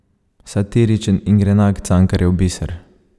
Satiričen in grenak Cankarjev biser.